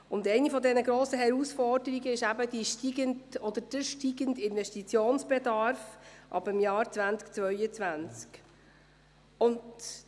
Eine dieser grossen Herausforderungen betrifft den steigenden Investitionsbedarf ab dem Jahr 2022.